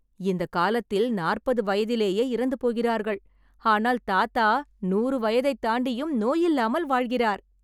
இந்த காலத்தில் நாற்பது வயதிலேயே இறந்து போகிறார்கள் ஆனால் தாத்தா நூறு வயதை தாண்டியும் நோயில்லாமல் வாழ்கிறார்